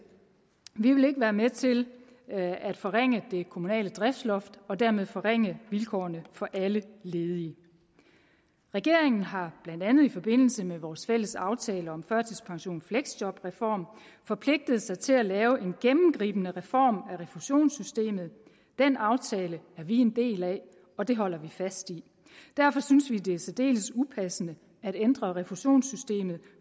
vi vil ikke være med til at forringe det kommunale driftsloft og dermed forringe vilkårene for alle ledige regeringen har blandt andet i forbindelse med vores fælles aftale om førtidspension og fleksjobreform forpligtet sig til at lave en gennemgribende reform af refusionssystemet den aftale er vi en del af og det holder vi fast i derfor synes vi det er særdeles upassende at ændre refusionssystemet